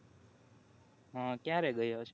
હા ક્યારે ગયો છે